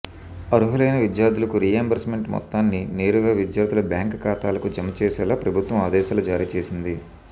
అర్హులైన విద్యార్థులకు రీయింబర్స్మెంట్ మొత్తాన్ని నేరుగా విద్యార్థుల బ్యాంకు ఖాతాలకు జమ చేసేలా ప్రభుత్వం ఆదేశాలు జారీ చేసింది